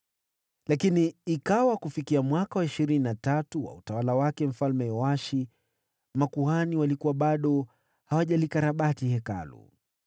Lakini ikawa kufikia mwaka wa ishirini na tatu wa utawala wake Mfalme Yoashi, makuhani walikuwa bado hawajalikarabati Hekalu.